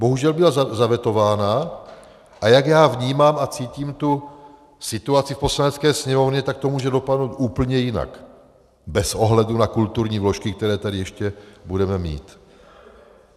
Bohužel byla zavetována, a jak já vnímám a cítím tu situaci v Poslanecké sněmovně, tak to může dopadnout úplně jinak bez ohledu na kulturní vložky, které tady ještě budeme mít.